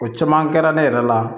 O caman kɛra ne yɛrɛ la